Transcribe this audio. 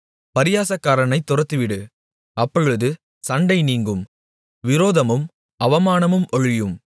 பரியாசக்காரனைத் துரத்திவிடு அப்பொழுது சண்டை நீங்கும் விரோதமும் அவமானமும் ஒழியும்